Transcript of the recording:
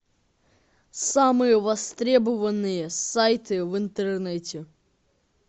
самые востребованные сайты в интернете